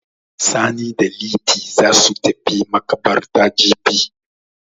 Sani da Liti za su tafi maƙabartar jibi.